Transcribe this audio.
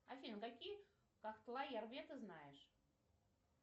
афин какие ты знаешь